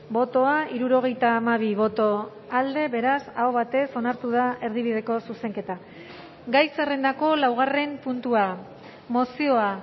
bozka hirurogeita hamabi boto alde beraz aho batez onartu da erdibideko zuzenketa gai zerrendako laugarren puntua mozioa